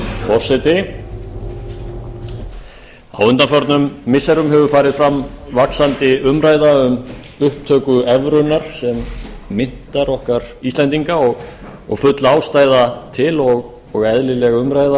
forseti á undanförnum missirum hefur farið fram vaxandi umræða um upptöku evrunnar sem myntar okkar íslendinga og full ástæða til og eðlileg umræða